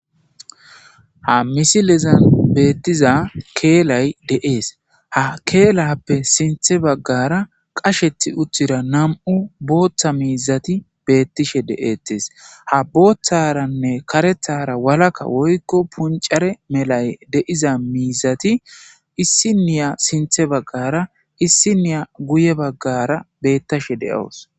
Ha misilezan beettiza keelay deees ha keelappe sinthe baggara qashethi utthira nam'u booththa miizati beettishe de'eettes ha booththaranne karethara walaka woykko puncare melay deiza miizati issiniya sinthe baggara issiniya guye baggara bettashe de'oos.